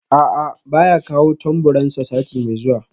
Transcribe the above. A'a baya kawo tamburansa sati mai zuwa